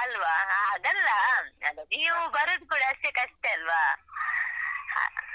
ಅಲ್ವಾ ಅದಲ್ಲ ನೀವು ಬರುದು ಕೂಡ ಅಷ್ಟಕಷ್ಟೆ ಅಲ್ವಾ